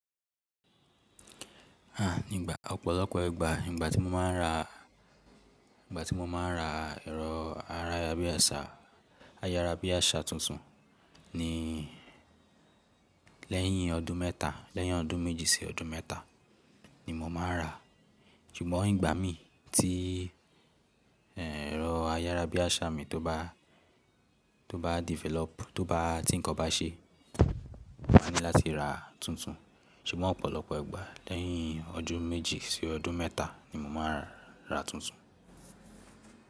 À, nígbà ọ̀pọ̀lọpọ̀ ìgbà ìgbà tí mo máa ń ra, ìgbà tí mo máa ń ra ẹ̀rọ ayárá bí àsá, ayárá bí àsá tuntun ni lẹ́yìn ọdún mẹ́ta, lẹ́yìn ọdún méjì sí ọdún mẹ́ta ni mo máa ń rà. Sugbon ìgbà mi tí ẹ̀rọ ayárá bí àsá mi tó bá, tó bá develop, tó bá tí nǹkan bá ṣe, mo máa ní láti ra tuntun. Ṣùgbọ́n ọ̀pọ̀lọpọ̀ ìgbà lẹ́yìn ọdún méjì sí ọdún mẹ́ta ni mo máa ń rà tuntun.